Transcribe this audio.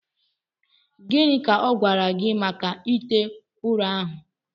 Gịnị ka ọ gwara gị maka ite ụrọ ahụ